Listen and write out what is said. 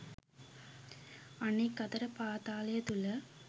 අනෙක් අතට පාතාලය තුල